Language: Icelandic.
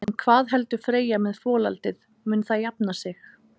En hvað heldur Freyja með folaldið, mun það jafna sig?